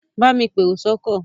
Bámi pèrò sọ́kọ̀!